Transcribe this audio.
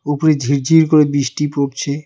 উপরে ঝিরঝির করে বৃষ্টি পড়ছে।